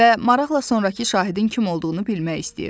Və maraqla sonrakı şahidin kim olduğunu bilmək istəyirdi.